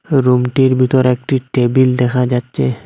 রুমটির বিতর একটি টেবিল দেখা যাচ্ছে।